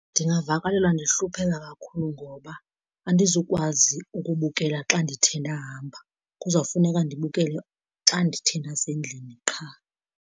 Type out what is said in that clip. Ndingavakalelwa ndihlupheka kakhulu ngoba andizukwazi ukubukela xa ndithe ndahamba, kuzofuneka ndibukele xa ndithe ndasendlini qha.